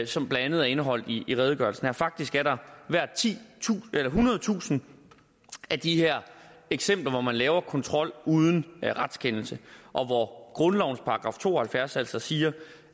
som blandt andet er indeholdt i i redegørelsen faktisk er der ethundredetusind af de her eksempler hvor man laver kontrol uden retskendelse og hvor grundlovens § to og halvfjerds altså siger